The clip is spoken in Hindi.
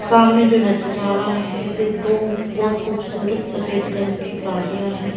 सामने जो नजर आ रहा है जे दो बहुत खूबसूरत सफेद रंग की गाड़ियां हैं।